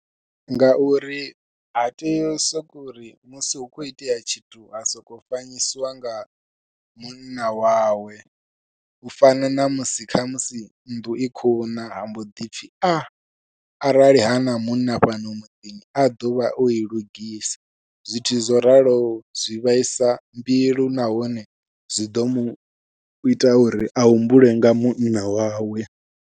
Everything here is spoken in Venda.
Ngauri ha tei u sokou uri musi hu khou itea tshithu ha sokou fanyisiwa nga munna wawe, u fana namusi khamusi nnḓu i khou na ha mbo ḓipfhi a arali hana munna fhano muḓini a ḓovha oi lugisa zwithu zwo raloho zwi vhaisa mbilu nahone zwi ḓo muita uri a humbule nga munna wawe.